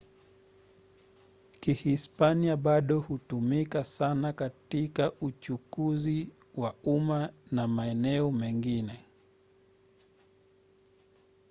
kihispania bado hutumika sana katika uchukuzi wa umma na maeneo mengine